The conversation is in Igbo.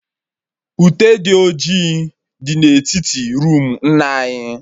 Ute dị ọjị dị na etiti roomu nna anyị